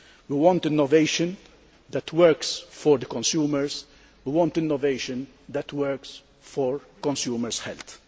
We want innovation that works for the consumers and innovation that works for consumers' health.